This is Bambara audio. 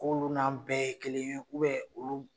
K'olu n'an bɛɛ ye kelen ye u bɛ olu